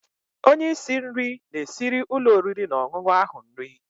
Onye isi nri na-esiri ụlọ oriri na ọṅụṅụ ahụ nri.